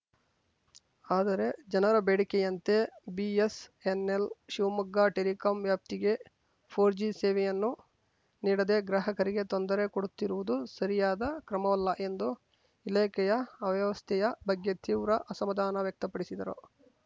ಆದರೆ ಜನರ ಬೇಡಿಕೆಯಂತೆ ಬಿಎಸ್‌ಎನ್‌ಎಲ್‌ ಶಿವಮೊಗ್ಗ ಟೆಲಿಕಾಂ ವ್ಯಾಪ್ತಿಗೆ ಫೋರ್ಜಿ ಸೇವೆಯನ್ನು ನೀಡದೆ ಗ್ರಾಹಕರಿಗೆ ತೊಂದರೆ ಕೊಡುತ್ತಿರುವುದು ಸರಿಯಾದ ಕ್ರಮವಲ್ಲ ಎಂದು ಇಲಾಖೆಯ ಅವ್ಯವಸ್ಥೆಯ ಬಗ್ಗೆ ತೀವ್ರ ಅಸಮಾಧಾನ ವ್ಯಕ್ತ ಪಡಿಸಿದರು